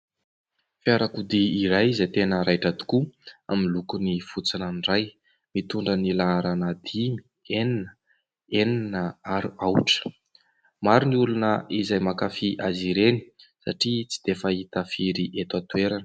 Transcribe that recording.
Fiarakodia iray izay tena raitra tokoa amin'ny lokony fotsy ranoray, mitondra ny laharana dimy, enina, enina ary aotra. Maro ny olona izay mankafy azy ireny satria tsy dia fahita firy eto an-toerana.